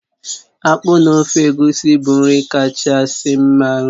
Akpụ na ofe egusi bụ nri kachasị mma nri